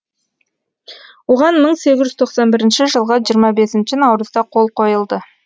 оған мың сегіз жүз тоқсан бірінші жылғы жиырма бесінші наурызда қол қойылды